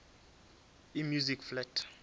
e music flat